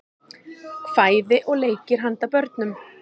kvæði og leikir handa börnum